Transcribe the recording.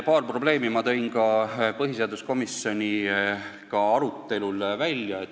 Paar probleemi ma tõin ka põhiseaduskomisjoni arutelul välja.